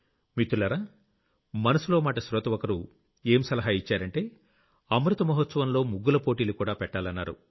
మిత్రులారా మనసులో మాట శ్రోత ఒకరు ఏం సలహా ఇచ్చారంటే అమృత మహాత్సవంలో ముగ్గుల పోటీలుకూడా పెట్టాలన్నారు